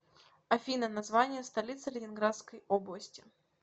афина название столицы ленинградской области